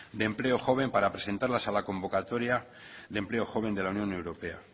de empleo joven para presentarlas a la convocatoria de empleo joven de la unión europea